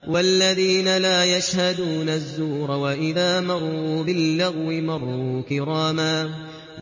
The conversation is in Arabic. وَالَّذِينَ لَا يَشْهَدُونَ الزُّورَ وَإِذَا مَرُّوا بِاللَّغْوِ مَرُّوا كِرَامًا